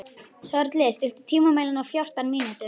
Sörli, stilltu tímamælinn á fjórtán mínútur.